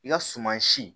I ka suman si